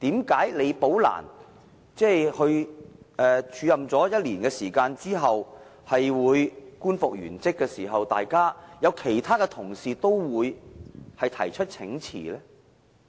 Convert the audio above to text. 為何李寶蘭署任1年後官復原職，其他同事也會提出請辭呢？